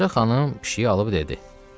Ağacə xanım pişiyi alıb dedi: